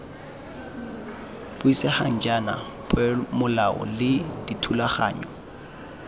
buisegang jaana peomolao le dithulaganyo